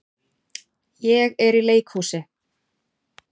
Ég er í leikhúsi.